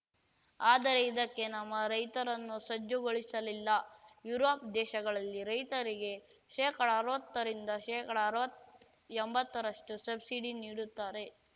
ಆದರೆ ಇದಕ್ಕೆ ನಮ್ಮ ರೈತರನ್ನು ಸಜ್ಜುಗೊಳಿಸಲಿಲ್ಲ ಯುರೋಪ್‌ ದೇಶಗಳಲ್ಲಿ ರೈತರಿಗೆ ಶೇಕಡಅರ್ವತ್ತರಿಂದ ಶೇಕಡಅರ್ವತ್ ಎಂಬತ್ತರಷ್ಟುಸಬ್ಸಿಡಿ ನೀಡುತ್ತಾರೆ